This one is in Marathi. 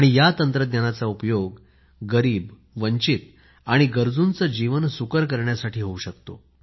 या तंत्रज्ञानाचा उपयोग गरीब वंचित आणि गरजुचे जीवन सुकर करण्यासाठी होऊ शकतो